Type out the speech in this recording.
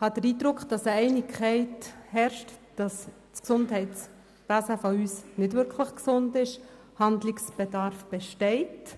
den Eindruck, dass Einigkeit darüber herrscht, dass unser Gesundheitswesen nicht wirklich gesund ist und Handlungsbedarf besteht.